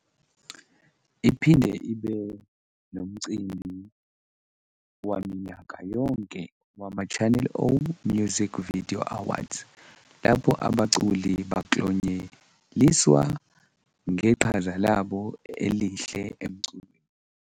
Iphinde ibe nomcimbi waminyaka yonke wamaChannel O Music Video Awards, lapho abaculi baklonyeliswa ngeqhaza labo elihle emculweni.